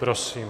Prosím.